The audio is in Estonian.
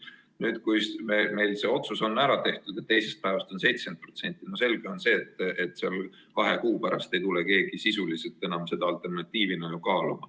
Kui meil otsus saab tehtud ja teisest päevast 70%, siis on ju selge, et kahe kuu pärast ei hakka keegi enam seda alternatiivina kaaluma.